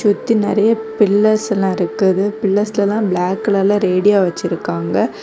இது நிறைய பில்லர்ஸ் எல்லாம் இருக்குது பில்லர்ஸ்ளலாம் பிளாக் கலர்ல ரேடியோ வ்வ்ர்ச்சிருக்காங்க.